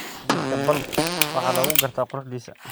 Geedka palm waxaa lagu gartaa quruxdiisa.